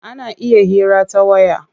Ana iya hira ta waya.